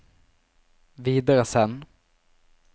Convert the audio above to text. videresend